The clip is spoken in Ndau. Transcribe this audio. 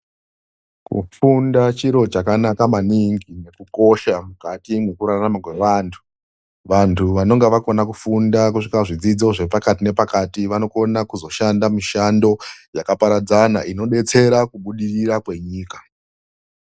Kufunda chiro chakanaka maningi nekukosha mukati mwekurarama kwevantu . Vantu vanenge vakona kufunda kusvika zvidzidzo zvepakati nepakati vanokone kuzoone mishando yakaparadzana inodetsere kubudirira kwenyika.